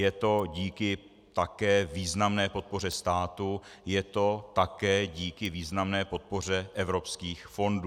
Je to také díky významné podpoře státu, je to také díky významné podpoře evropských fondů.